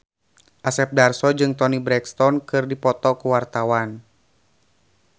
Asep Darso jeung Toni Brexton keur dipoto ku wartawan